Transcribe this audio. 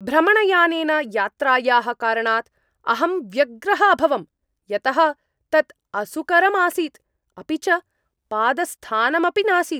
भ्रमणयानेन यात्रायाः कारणात् अहं व्यग्रः अभवम्, यतः तत् असुकरम् आसीत्, अपि च पादस्थानमपि नासीत्।